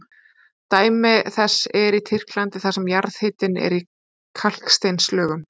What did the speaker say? Dæmi þess er í Tyrklandi þar sem jarðhitinn er í kalksteinslögum.